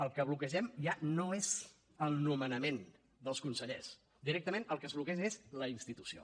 el que bloquegem ja no és el nomenament dels consellers directament el que es bloqueja és la institució